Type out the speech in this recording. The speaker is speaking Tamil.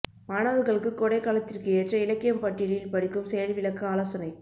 மாணவர்களுக்கு கோடைக் காலத்திற்கு ஏற்ற இலக்கியம் பட்டியலில் படிக்கும் செயல்விளக்க ஆலோசனை